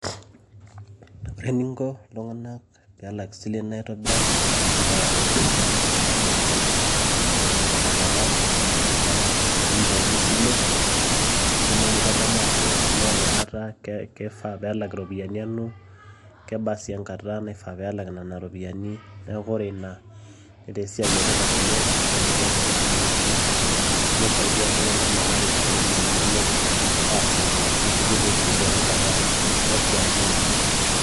Ore ening'o iltung'anak pee elak esilen aitobiraki naa umh naa intadamu oltung'ani Eton eng'orr engata ena apa ninchoorie esile nitumoki atadamu ajo amaa ena Kata keifaa peelak iropiyiani anu kebaa sii engata naifaa pee elak Nena ropiyiani neeku ore Ina netaa esiai etipat oleng' ashu netaa entoki emaana oleng' amu eisaidia iltung'anak metaa keshuku iropiyiani inonok aasioki neshuku sii teng'ata naishaakino.